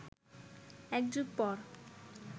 এক যুগ পর